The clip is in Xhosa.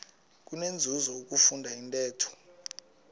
kunenzuzo ukufunda intetho